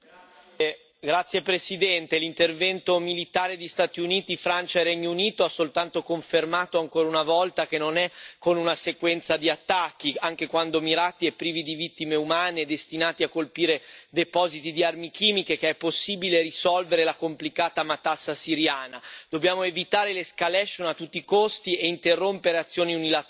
Signor Presidente, onorevoli colleghi, l'intervento militare di Stati Uniti, Francia e Regno Unito ha soltanto confermato ancora una volta che non è con una sequenza di attacchi anche quando mirati e privi di vittime umane e destinati a colpire depositi di armi chimiche che è possibile risolvere la complicata matassa siriana dobbiamo evitare l'escalation a tutti i costi e interrompere azioni unilaterali.